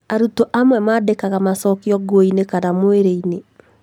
Arutwo amwe mandĩkaga macokio nguo -inĩ kana mwĩrĩ-inĩ